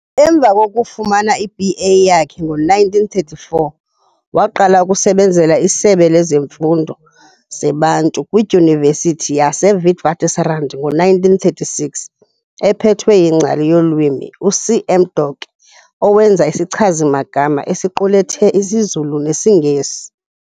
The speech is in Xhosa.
Emva kokufumana iB.A yakhe ngo-1934, waqala ukusebenzela isebe lezifundo zeBantu kwiDyunivesithi yaseWitswatersrand ngo-1936 ephethwe yingcali yolwimi uC.M Doke owenza isichazi-magama esiqulethe isiZulu nesiNgesi.